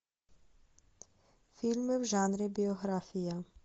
фильмы в жанре биография